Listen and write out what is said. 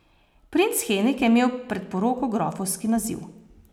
Princ Henrik je imel pred poroko grofovski naziv.